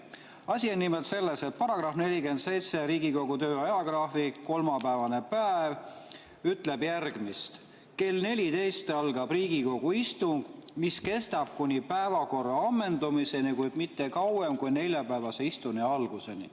Asi on nimelt selles, et § 47 "Riigikogu töö ajagraafik" kolmapäevase päeva kohta ütleb, et kell 14.00 algab Riigikogu istung, mis kestab kuni päevakorra ammendumiseni, kuid mitte kauem kui neljapäevase istungi alguseni.